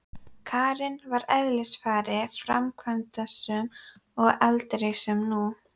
Karen var að eðlisfari framkvæmdasöm en aldrei sem nú.